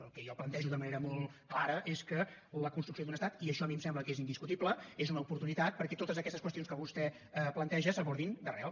el que jo plantejo de manera molt clara és que la construcció d’un estat i això a mi em sembla que és indiscutible és una oportunitat perquè totes aquestes qüestions que vostè planteja s’abordin d’arrel